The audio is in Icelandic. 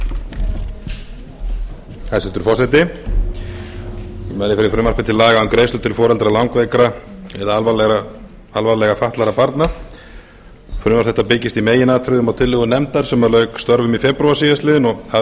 fyrir frumvarpi til laga um greiðslur til foreldra langveikra eða alvarlega fatlaðra barna frumvarp þetta byggist í meginatriðum á tillögu nefndar sem lauk störfum í febrúar síðastliðinn og hafði